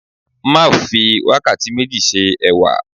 Marv fi wakati meji se ẹwà